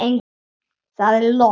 Það er logn.